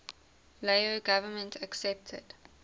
lao government accepted